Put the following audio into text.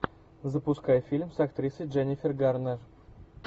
запускай фильм с актрисой дженнифер гарнер